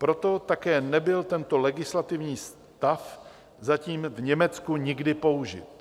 Proto také nebyl tento legislativní stav zatím v Německu nikdy použit.